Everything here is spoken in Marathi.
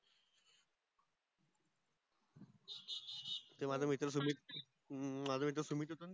ते माझ मित्र सुमित माझ मित्र सुमित होत न